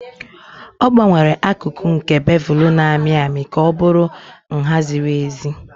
Ọ gbanwere akụkụ nke bevelu na-amị amị ka ọ bụrụ nha ziri ezi.